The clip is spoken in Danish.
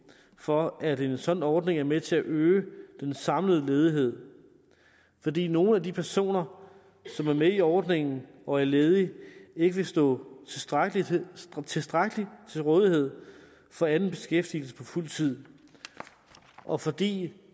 for at en sådan ordning er med til at øge den samlede ledighed fordi nogle af de personer som er med i ordningen og er ledige ikke vil stå tilstrækkeligt tilstrækkeligt til rådighed for anden beskæftigelse på fuld tid og fordi